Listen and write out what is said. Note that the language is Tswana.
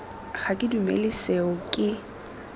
ga ke dumele seo ke